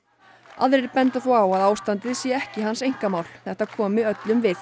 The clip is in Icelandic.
aðrir benda þó á að ástandið sé ekki hans einkamál þetta komi öllum við